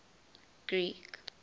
greek